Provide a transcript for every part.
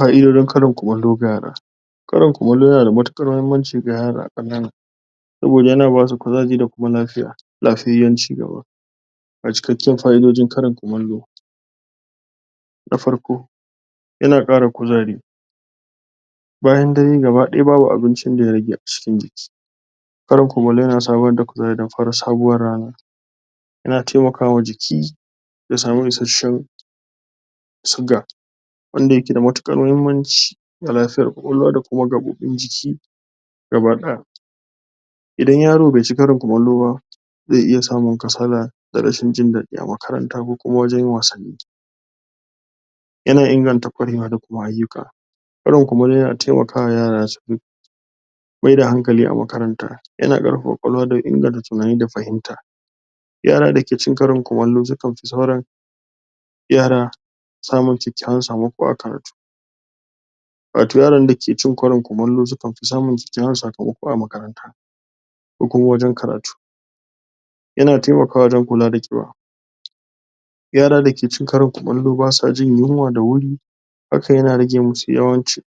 Fa'idojin karin kumallo ga yara: Karin kumallo yana da matuƙar muhimmanci ga yara saboda yana ba su kuzari da kuma lafiya lafiyyen ciki. Ga cikakken fa'idojin karin kumallo na farko yana ƙara kuzari bayan dare gabadaya babu abincin da ya rage a cikin jiki. Karin kumallo yana samar da kuzari da kuma sabuwar rana yana taimakawa jiki ya samu ishasshan siga wanda yake da matuƙar muhimmanci ga lafiyar ƙwaƙwalwa da kuma gaɓoɓin jiki gabaɗaya idan yaro bai ci karin kumallo ba, zai iya samun kasala da rashin jin dadi a makaranta ko kuma wajen wasanni yana inganta ƙwarewa da kuma ayyuka. Karin kumallo yana taimakawa yarab su maida hankali a makaranta yana ƙarfafa ƙwaƙwalwa da inganta tunani da fahimta yara dake cin karin kumallo sukan fi sauran yara samun kyakkyawan sakamako a karatu. Wato yara dake cin karin kumallo sukan fi samun kyakkyawan sakamako a makaranta, ko kuma wajen karatu yana taimawa wajen kula da ƙiba yara dake cin karin kumallo ba sa jin yunwa da wuri hakan yana rage musu yawan ci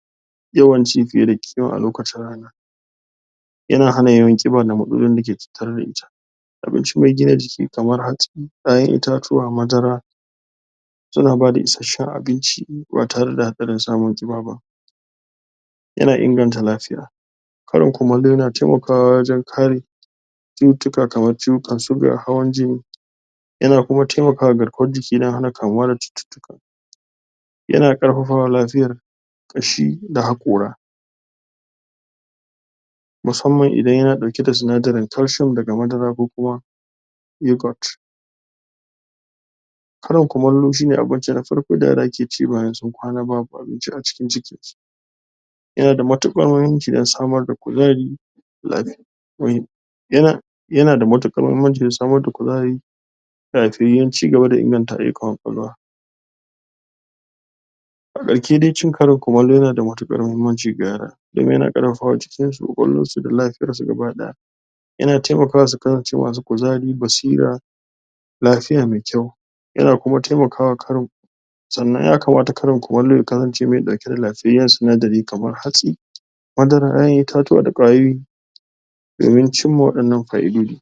yawan ci fiye da ƙima a lokaci rana yana hana ƙiba da matsalolin dake tattare da ita abinci mai gina jiki kamar hatsi, ƴaƴan itatuwa, madara suna bada isasshen abinci ba tare da hatsarin samun ƙiba ba. Yana inganta lafiya, karin kumallo yana taimakawa wajen kare cututtuka kamar ciwukan suga, hawan-jini yana kuma taimakwa garkuwar jiki don hana kamuwa da cututtuka. yana ƙarfafawa lafiyar ƙashi da haƙora. Musamman idan yana ɗauke da sinadrin calcium daga madara ko kuma yoghurt. Karin kumallo shi ne abinci na farko da yara ke ci bayan sun kwana babu abinci a cikin jikinsu, yana da matuƙar muhimmanci don samar da kuzari?? yana yana da matuƙar muhimmanci don samar da kuzari da lafiyyan cigaba da inganta ayyukan ƙwaƙwalwa. A ƙarshe dai cin karin kumallo yana da matuƙar muhimmanci ga yara, domin yana ƙarfafawa jikinsu da ƙwaƙwalwarsu da lafiyarsu gabadaya. yana taimakawa su kasance masu kuzari, basira, lafiya mai kyau. Yana kuma taimakawa karin Sannan ya kamata karin kumallo ya kasance mai dauke da lafiyyan sinadri kamar hatsi, madara, ƴaƴan itatuwa da ƙwayoyi domin cimma waɗannan fa'idoji.